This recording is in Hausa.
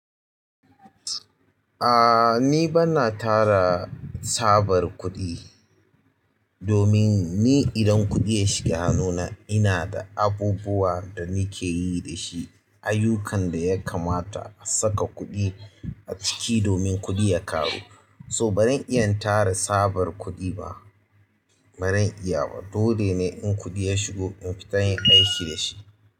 Ah, ni banna tara tsabar kuɗi domin ni idan kuɗi ya shiga hannuna ina da abubuwa danakeyi dashi aiyukan ɗaya kamata asaka kuɗi aciki domin kuɗi ya ƙaru. So baran iya tara tsabar kuɗi ba, baran iya ba. Dole ne in kuɗi ya shigo in fita in kashe shi.